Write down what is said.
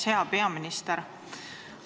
Hea peaminister!